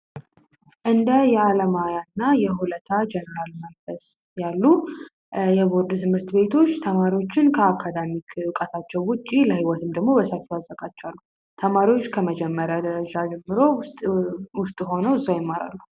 እንዳያለማያና የሁለታል መንፈስ ያሉ ትምህርት ቤቶች ተማሪዎችን ውጪ አዘጋጅቷል ተማሪዎች ከመጀመሪያ ደረጃ ውስጥ ሆኖ እዛው ይማራሉ